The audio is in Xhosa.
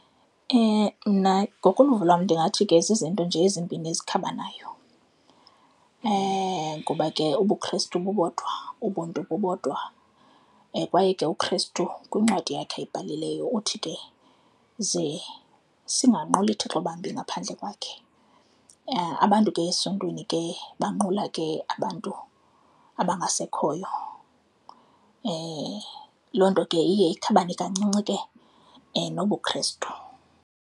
Mna ngokoluvo lwam ndingathi ke zizinto nje ezimbini ezikhabanayo. Ngoba ke ubuKristu bubodwa, ubuntu bubodwa kwaye ke uKristu kwincwadi yakhe ayibhalileyo uthi ke ze singanquli Thixo bambi ngaphandle kwakhe. Abantu ke esiNtwini ke banqula ke abantu abangasekhoyo. Loo nto ke iye ikhabhane kancinci ke nobuKristu.